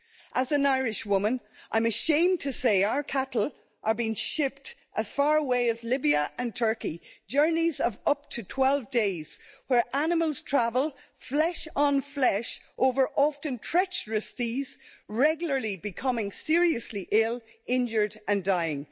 As an Irish woman, I'm ashamed to say our cattle are being shipped as far away as Libya and Turkey, journeys of up to 12 days, where animals travel flesh on flesh over often treacherous seas, regularly becoming seriously ill, injured and dying.